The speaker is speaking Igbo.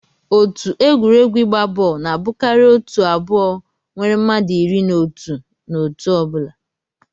Otu egwuregwu igba bọọlụ na abụkarị otu abụọ nwere mmadụ iri na otụ na otu ọ bụla